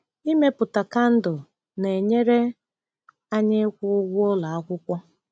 Ịmepụta kandụl na-enyere anyị ịkwụ ụgwọ ụlọ akwụkwọ.